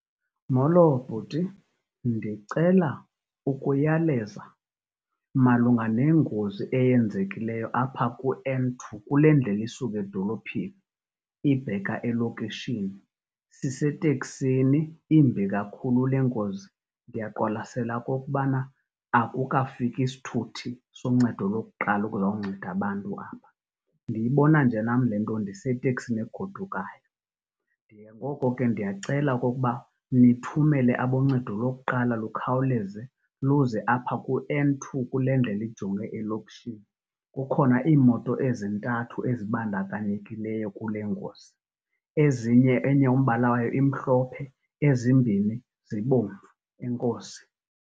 Molo bhuti, ndicela ukuyaleza malunga nengozi eyenzekileyo apha ku-N two kule ndlela isuka edolophini ibheka elokishini. Siseteksini imbi kakhulu le ngozi ndiyaqwalasela okokubana akukafiki sithuthi soncedo lokuqala ukuzonceda abantu apha. Ndiyibona nje nam le nto ndiseteksini egodukayo, ngoko ke ndiyacela okokuba nithumele aboncedo lokuqala lukhawuleze luze apha ku-N two kule ndlela ijonge elokishini. Kukhona iimoto ezintathu ezibandakanyekileyo kule ngozi. Ezinye enye umbala wayo imhlophe ezimbini zibomvu. Enkosi.